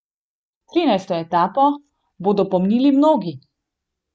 Trinajsto etapo bodo pomnili mnogi.